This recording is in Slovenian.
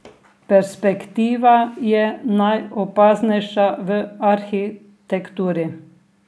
Perspektiva je najopaznejša v arhitekturi.